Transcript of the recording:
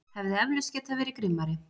Hefði eflaust getað verið grimmari.